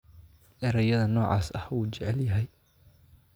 Erayada noocaas ah wuu jecel yahay